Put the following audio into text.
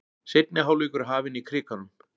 Seinni hálfleikur er hafinn í Krikanum